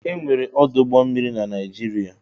Ee! E nwere ọdụ ụgbọ mmiri na Naịjirịa.